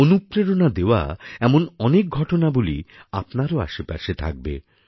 অনুপ্রেরণা দেওয়া এমন অনেকঘটনাবলী আপনারও আশেপাশে থাকবে